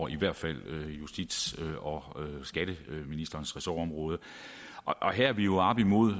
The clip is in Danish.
i hvert fald justits og skatteministerens ressortområde og her er vi jo oppe imod